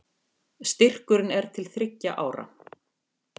Styrkurinn er til þriggja ára